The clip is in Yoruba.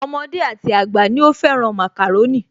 Ọmọdé àti àgbà ni ó fẹ́ràn màkàrónì